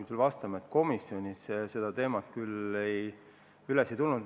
Ma pean sulle vastama, et komisjonis seda teemat küll üles ei võetud.